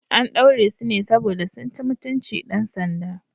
An ɗaure su ne saboda sun ci mutunci dan sanda.